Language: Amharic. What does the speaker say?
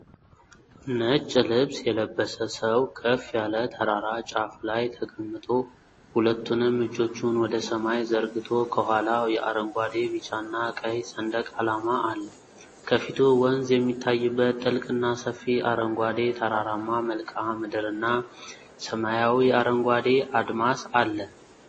ነጭ ልብስ የለበሰ ሰው ከፍ ያለ ተራራ ጫፍ ላይ ተቀምጦ ሁለቱንም እጆቹን ወደ ሰማይ ዘርግቶ፣ ከኋላው የአረንጓዴ፣ ቢጫና ቀይ ሰንደቅ ዓላማ አለ። ከፊቱ ወንዝ የሚታይበት ጥልቅና ሰፊ፣ አረንጓዴ ተራራማ መልክዓ ምድርና፣ ሰማያዊ አረንጓዴ አድማስ አለ።